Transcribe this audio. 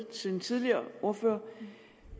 til den tidligere ordfører